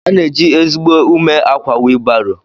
Ana eji ezigbo ume akwa wilu baro.